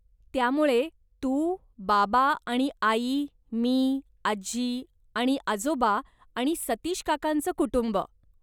त्यामुळे तू, बाबा आणि आई, मी, आजी आणि आजोबा आणि सतीश काकांचं कुटुंब.